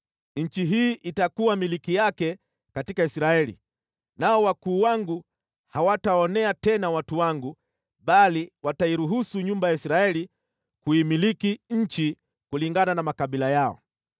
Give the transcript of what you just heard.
Nchi hii itakuwa milki yake katika Israeli. Nao wakuu wangu hawataonea tena watu wangu bali watairuhusu nyumba ya Israeli kuimiliki nchi kulingana na makabila yao.